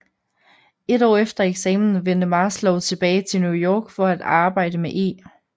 Et år efter eksamen vendte Maslow tilbage til New York for at arbejde med E